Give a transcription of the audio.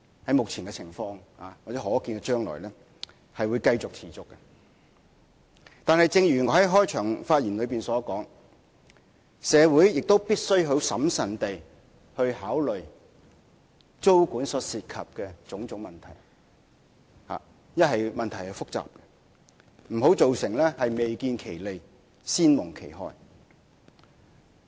但是，正如我在開場發言所說，由於問題複雜，故此社會必須審慎考慮租管所涉及的種種問題，不要造成未見其利、先蒙其害。